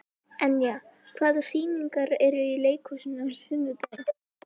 Enja, hvaða sýningar eru í leikhúsinu á sunnudaginn?